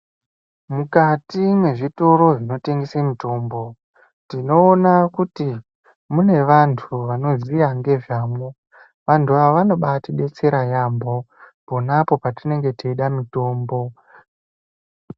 Mukati mwezvitoro zvinotengese mutombo, tinoona kuti mune vantu vanoziya ngezvamwo. Antu ava vanobaatidetsera yaambo pona apo patinenge teida mutombo.